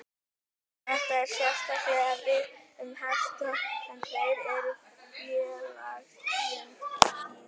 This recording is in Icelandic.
Þetta á sérstaklega við um hesta en þeir eru félagslynd dýr.